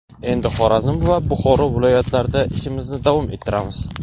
Endi Xorazm va Buxoro viloyatlarida ishimizni davom ettiramiz”.